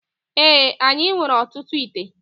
Ee, anyị nwere ọtụtụ íté